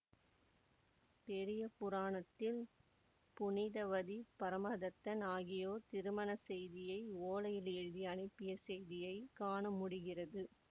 பெரிய புராணத்தில் புனிதவதி பரமதத்தன் ஆகியோர் திருமணச் செய்தியை ஓலையில் எழுதி அணுப்பிய செய்தியை காண முடிகிறது